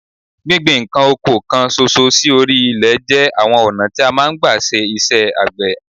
Gbíngbin nǹkan oko kan ṣoṣo sí orí ilẹ̀ jẹ́ àwọn ọ̀nà tí a máa ń gba ṣe iṣẹ́ àgbẹ̀